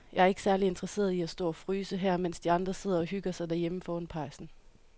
Jeg er ikke særlig interesseret i at stå og fryse her, mens de andre sidder og hygger sig derhjemme foran pejsen.